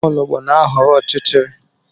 Nwaologb na-ahọrọ ọchịchịrị